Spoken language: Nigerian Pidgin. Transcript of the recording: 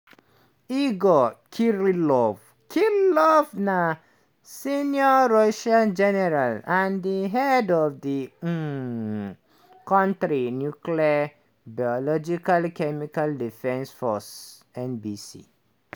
igor kirillov kirillov na senior russian general and di head of di um kontri nuclear biological chemical defence forces (nbc).